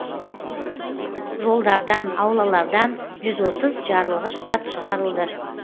жолдардан аулалардан жүз отыз жарылғыш зат шығарылды